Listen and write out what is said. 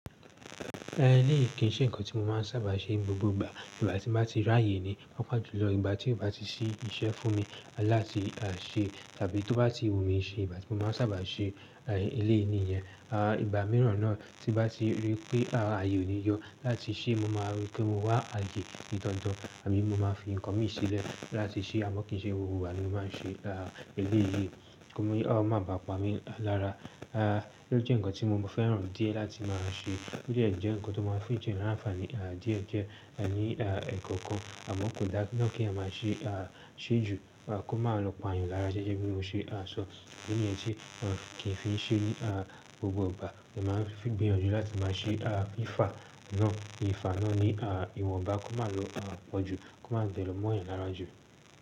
Eh ní ìkí n ṣe ǹkan tí mo máa ń sábà ṣe gbogbo ìgbà. Ìgbà tí mo bá ti ráye ni, pàápàá jùlọ ìgbà tí ó bá ti ṣí iṣẹ́ fún mi láti à ṣe tàbí tó bá ti wù mí ṣe, ìgbà tí mo máa ń sábà ṣe eléyìí níyẹn. À ìgbà mìíràn náà tí bá ti rí pé à aye ò níyo láti ṣé, mo máa rí pé mo wá aye ní dandan àbí mo máa fi ǹkan mi sílẹ̀ láti ṣé àmọ́ kì í ṣe gbogbo ìgbà ni mo máa ń ṣe eléyìí. Kí ó máa ba pa mi lára. À ló jẹ́ ǹkan tí mo fẹ́ràn díẹ̀ láti máa ṣe. Ó dẹ̀ jẹ́ ǹkan tó máa ń fi jẹ́ rán àǹfààní à díẹ̀ díẹ̀ à ní ẹ́kọ́kan àmọ́ kò dá nà kí a máa ṣe à ṣe ju. Kó máa lọ pààyàn lára ṣéṣé bí mo ṣe à sọ. Ìdí niyen tí wọ́n kì í fi ṣe ní à gbogbo ìgbà. Mọ̀ máa ń fi gbìyànjú láti máa ṣe à fi ìfà náà, ìfà náà ní à ìwọ̀nba kó máa lọ à pọ̀ jù, kó máa tẹ̀lọ̀ mọ́'yàn láráju.